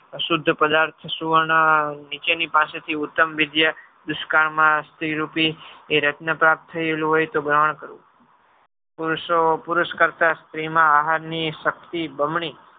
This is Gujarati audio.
શુદ્ધ પ્રદાર્થ સુવર્ણ નીચેની પાસેથી ઉત્તમ વિદ્યા દુષ્કાળમાં સ્ત્રીરૂપી એ રત્ન પ્રાપ્ત થયેલું હોય તો ગ્રહણ કરવું. પુરુષ કરતા સ્ત્રીમાં આહારની શક્તિ બમણી